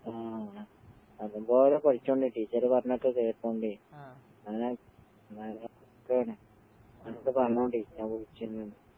ആഹ് നല്ലമ്പോലെ പഠിച്ചോളണേ ടീച്ചറ് പറഞ്ഞൊക്കെ കേട്ടോണ്ടേ. ഉമ്മെടുത്ത് പറഞ്ഞോളി ഞാൻ വിളിച്ചിരുന്നൂന്ന്.